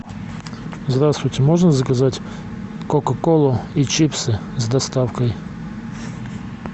здравствуйте можно заказать кока колу и чипсы с доставкой